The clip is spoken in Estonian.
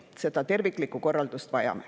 Vajame terviklikku korraldust.